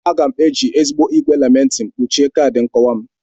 Aga m eji ezigbo igwe laminating kpuchie kaadị nkowa m.